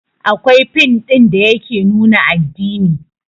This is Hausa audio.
Akwai fin ɗin da yake nuna addini